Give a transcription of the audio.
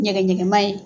Nɛgɛ ɲɛngɛn ma ye